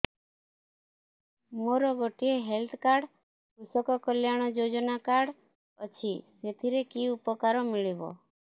ମୋର ଗୋଟିଏ health card କୃଷକ କଲ୍ୟାଣ ଯୋଜନା କାର୍ଡ ଅଛି ସାଥିରେ କି ଉପକାର ମିଳିବ